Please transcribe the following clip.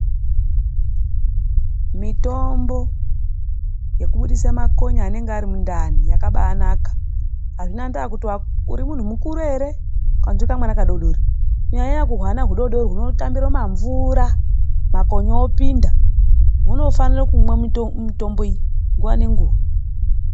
Mitombo yekubudise makonye anenge ari mundani yakabaanaka. Hazvina ndaa kuti uri muntu mukuru ere kana kuti uri kamwana kadoodori. Kunyanya nyanya kuhwana hudoodori hunotambiro mumamvura, makonye opinda, hunofanira kumwa mitombo iyi nguva nenguwa.